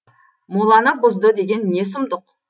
моланы бұзды деген не сұмдық